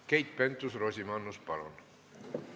Keit Pentus-Rosimannus, palun!